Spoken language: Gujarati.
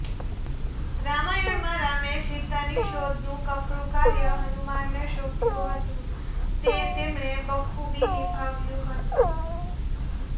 રામાયણમાં રામે સીતાની શોધનું કપરું કાર્ય હનુમાનને સોંપ્યું હતું તે તેમણે બખૂબી નિભાવ્યું હતું